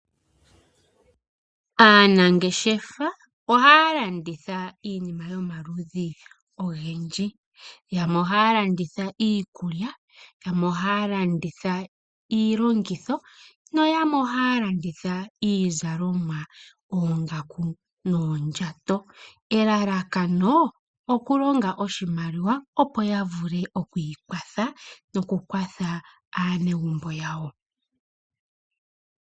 Aanangeshefa ohaa landitha iinima yomaludhi ogendji, yamwe ohaa landitha iikulya, yamwe ohaa landitha iilongitho nayamwe ohaa landitha iizalomwa yoongaku noondjato, elalakano okulonga oshimaliwa opo ya vule okwiikwatha nokukwathela aanegumbo yawo.